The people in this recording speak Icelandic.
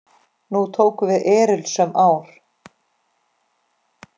Nú tóku við erilsöm ár.